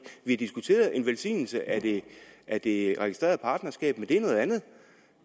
har diskuteret en velsignelse af af det registrerede partnerskab men det er noget andet